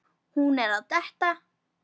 Hún er að detta.